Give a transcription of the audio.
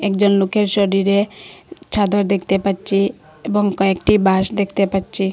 একজন লোকের শরীরে ছাদর দেখতে পাচ্চি এবং কয়েকটি বাঁশ দেখতে পাচ্চি।